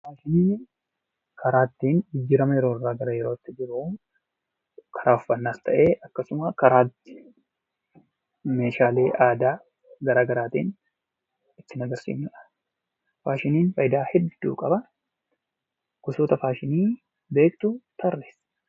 Faashiniin karaa ittiin jijjiirama yeroo irraa gara yerootti jiru karaa uffannaas ta'e akkasumas karaa meeshaalee aadaa garagaraatiin ittiin agarsiifnu dha. Faashiniin faayidaa hedduu qaba. Gosoota faashinii beektu tarreessi!